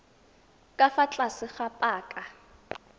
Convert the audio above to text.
ka fa tlase ga paka